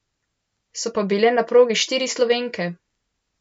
So pa bile na progi štiri Slovenke.